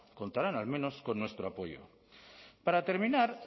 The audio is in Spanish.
contarán al menos con nuestro apoyo para terminar